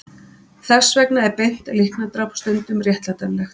Þess vegna er beint líknardráp stundum réttlætanlegt.